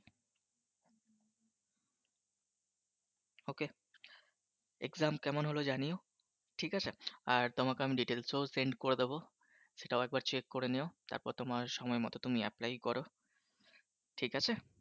Exam কেমন হলো জানিও ঠিক আছে, আর তোমাকে আমি Details ও Send করে দেবো সেটাও একবার Check করে নিও তারপর তোমার সময় মত তুমি Apply কর ঠিক আছে!